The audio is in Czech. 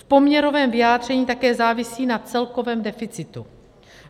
V poměrovém vyjádření také závisí na celkovém deficitu.